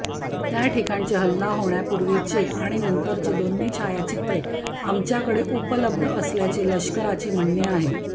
त्या ठिकाणाचे हल्ला होण्यापुर्वीचे आणि नंतरचे अशी दोन्ही छायाचित्रे आमच्याकडे उपलब्ध असल्याचे लष्कराचे म्हणणे आहे